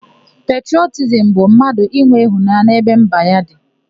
Petrọtizimu bụ mmadụ inwe ịhụnanya n'ebe mba ya dị.